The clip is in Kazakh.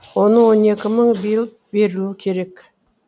оның он екі мыңы биыл берілуі керек